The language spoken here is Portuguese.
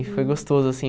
E foi gostoso, assim.